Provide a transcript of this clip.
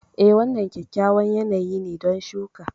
Eh, wannan kyakkyawan yanayi ne don shuka.